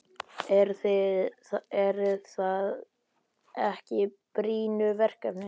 Eru það ekki brýnu verkefnin?